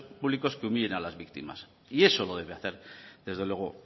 públicos que humillen a las víctimas y eso lo debe hacer desde luego